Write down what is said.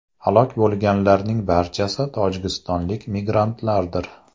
Halok bo‘lganlarning barchasi tojikistonlik migrantlardir.